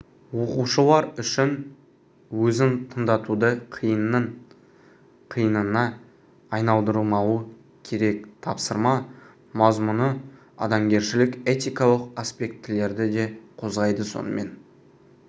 оқушылар үшін өзін тыңдатуды қиынның қиынына айналдырмауы керек тапсырма мазмұны адамгершілік этикалық аспектілерді де қозғайды сонымен